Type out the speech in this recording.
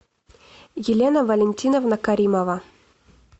елена валентиновна каримова